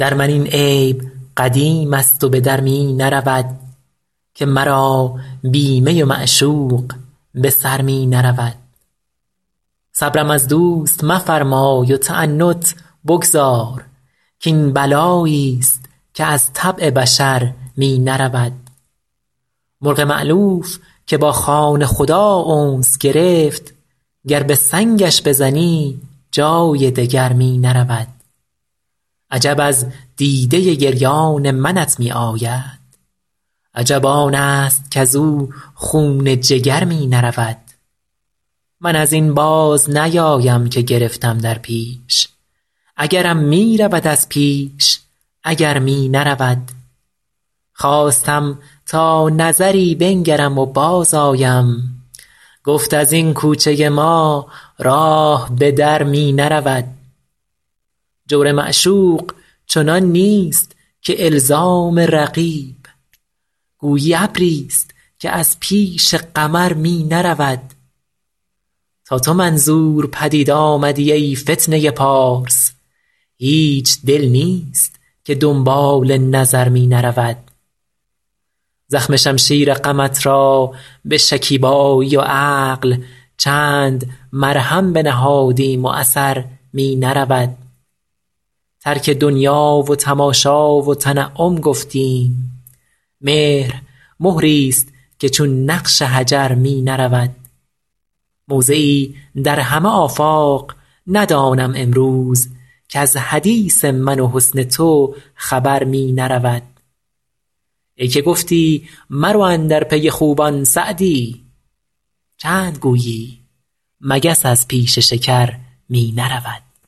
در من این عیب قدیم است و به در می نرود که مرا بی می و معشوق به سر می نرود صبرم از دوست مفرمای و تعنت بگذار کاین بلایی ست که از طبع بشر می نرود مرغ مألوف که با خانه خدا انس گرفت گر به سنگش بزنی جای دگر می نرود عجب از دیده گریان منت می آید عجب آن است کز او خون جگر می نرود من از این باز نیایم که گرفتم در پیش اگرم می رود از پیش اگر می نرود خواستم تا نظری بنگرم و بازآیم گفت از این کوچه ما راه به در می نرود جور معشوق چنان نیست که الزام رقیب گویی ابری ست که از پیش قمر می نرود تا تو منظور پدید آمدی ای فتنه پارس هیچ دل نیست که دنبال نظر می نرود زخم شمشیر غمت را به شکیبایی و عقل چند مرهم بنهادیم و اثر می نرود ترک دنیا و تماشا و تنعم گفتیم مهر مهری ست که چون نقش حجر می نرود موضعی در همه آفاق ندانم امروز کز حدیث من و حسن تو خبر می نرود ای که گفتی مرو اندر پی خوبان سعدی چند گویی مگس از پیش شکر می نرود